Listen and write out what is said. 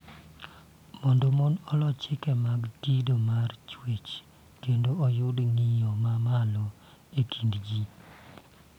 Mondo mon olo chike mag kido mar chuech kendo oyud ng�iyo ma malo e kind ji,